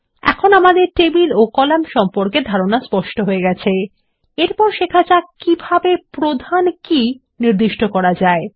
এখন আমাদের টেবিল ও কলাম সম্পর্কে স্পষ্ট ধারণা হয়ে গেছে এরপর শেখা যাক কিভাবে প্রধান কি নির্দিষ্ট করা যায়